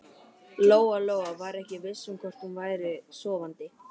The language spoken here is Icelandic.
Lóa-Lóa var ekki viss um hvort hún væri sofandi.